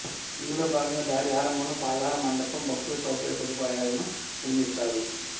ఇందులో భాగంగా దారి ఆరంభంలో పాదాల మండపం భక్తుల సౌకర్య సదుపాయాలను నిర్మిస్తారు